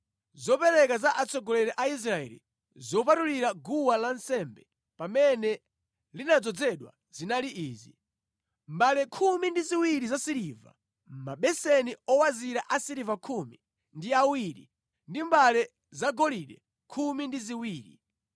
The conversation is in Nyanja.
Zopereka za atsogoleri a Israeli zopatulira guwa lansembe pamene linadzozedwa zinali izi: mbale khumi ndi ziwiri zasiliva, mabeseni owazira asiliva khumi ndi awiri ndi mbale zagolide khumi ndi ziwiri.